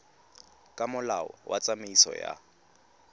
ka molao wa tsamaiso ya